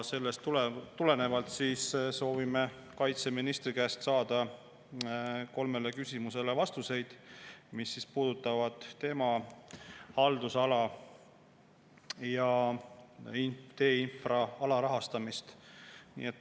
Sellest tulenevalt soovime kaitseministri käest saada vastuseid kolmele küsimusele, mis puudutavad tema haldusala ja teeinfra alarahastamist.